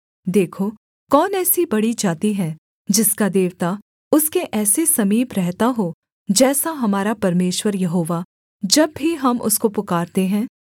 देखो कौन ऐसी बड़ी जाति है जिसका देवता उसके ऐसे समीप रहता हो जैसा हमारा परमेश्वर यहोवा जब भी हम उसको पुकारते हैं